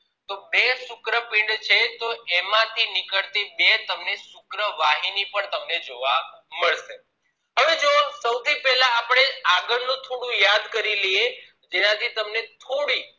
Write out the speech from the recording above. બે શુક્રપીંડ છે તો એમાં થી નીકળી બે તમને શુક્ર વાહિની જોવા મળશે હવે જોવો સોથી પહેલા આપણે આગળ નું થોડું યાદ કરી લઇએ જેના થી તમને થોડી